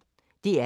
DR P1